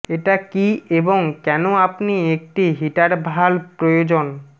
এটা কি এবং কেন আপনি একটি হিটার ভালভ প্রয়োজন